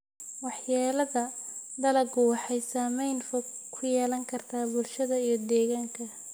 Waxyeellada dalaggu waxay saameyn fog ku yeelan kartaa bulshada iyo deegaanka.